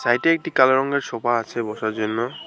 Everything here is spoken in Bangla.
সাইডে একটি কালো রঙের সোফা আছে বসার জন্য।